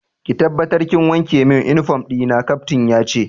Ki tabbatar kin wanke min uniform dina, Captain yace.